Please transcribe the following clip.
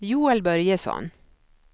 Joel Börjesson